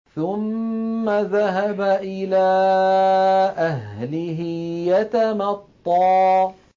ثُمَّ ذَهَبَ إِلَىٰ أَهْلِهِ يَتَمَطَّىٰ